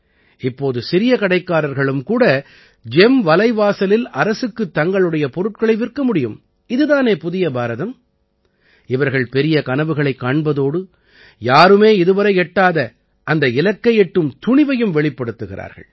இப்போது சிறிய கடைக்காரர்களும் கூட ஜெம் வலைவாசலில் அரசுக்குத் தங்களுடைய பொருட்களை விற்க முடியும் இது தானே புதிய பாரதம் இவர்கள் பெரிய கனவுகளைக் காண்பதோடு யாருமே இதுவரை எட்டாத அந்த இலக்கை எட்டும் துணிவையும் வெளிப்படுத்துகிறார்கள்